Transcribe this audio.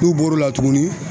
N'u bɔr'o la tuguni